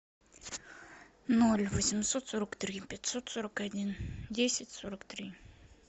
ноль восемьсот сорок три пятьсот сорок один десять сорок три